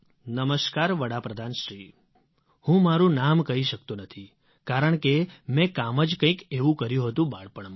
નમસ્કાર વડાપ્રધાનશ્રી હું મારું નામ કહી શકતો નથી કારણકે મેં કામ જ કંઇક એવું કર્યું હતું બાળપણમાં